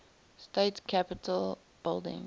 state capitol building